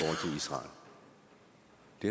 det